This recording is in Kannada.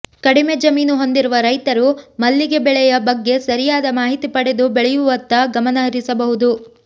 ಕಡಿಮೆ ಜಮೀನು ಹೊಂದಿರುವ ರೈತರು ಮಲ್ಲಿಗೆ ಬೆಳೆಯ ಬಗ್ಗೆ ಸರಿಯಾದ ಮಾಹಿತಿ ಪಡೆದು ಬೆಳೆಯುವತ್ತ ಗಮನಹರಿಸಬಹುದು